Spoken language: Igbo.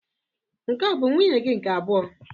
Nke a bụ nwunye gị nke abụọ?